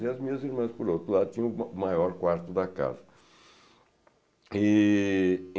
E as minhas irmãs, por outro lado, tinham o ma maior quarto da casa. E